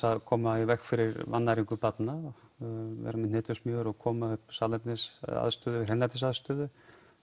að koma í veg fyrir vannæringu barna vera með hnetusmjör og koma upp salernis eða hreinlætisaðstöðu